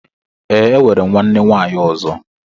Ee, enwere m nwanne nwaanyị ọzọ